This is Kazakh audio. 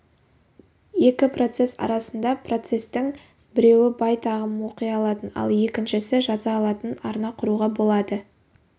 екі процесс арасында процестің біреуі байт ағымын оқи алатын ал екіншісі жаза алатын арна құруға болады